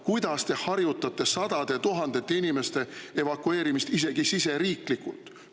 Kuidas te harjutate sadade tuhandete inimeste evakueerimist isegi siseriiklikult?